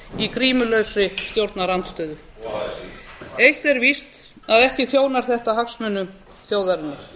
á grímulausri stjórnarandstöðu og así eitt er víst að ekki þjónar þetta hagsmunum þjóðarinnar